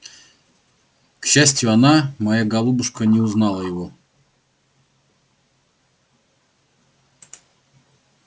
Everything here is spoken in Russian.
к счастию она моя голубушка не узнала его